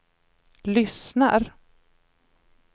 lyssnar